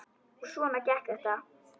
Og svona gekk þetta.